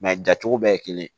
jacogo bɛɛ ye kelen ye